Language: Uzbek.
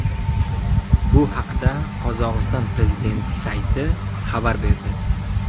Bu haqda Qozog‘iston prezidenti sayti xabar berdi .